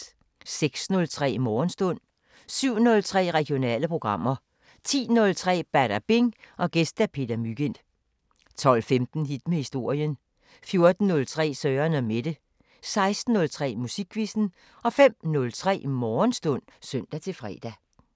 06:03: Morgenstund 07:03: Regionale programmer 10:03: Badabing: Gæst Peter Mygind 12:15: Hit med historien 14:03: Søren & Mette 16:03: Musikquizzen 05:03: Morgenstund (søn-fre)